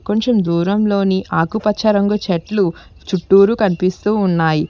కొంచెం దూరంలోని ఆకుపచ్చ రంగు చెట్లు చుట్టూరు కనిపిస్తూ ఉన్నాయి.